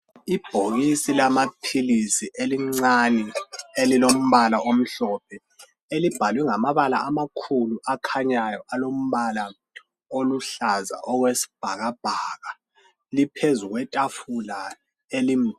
Ibhokisi lamapilisi elincane elilombala amhlophe. Elibhalwe ngamabala amakhulu oluhlaza okwesbhakabhaka. Liphezu kwetafula elikhulu.